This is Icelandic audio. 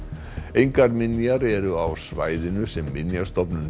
engar minjar eru á svæðinu sem Minjastofnun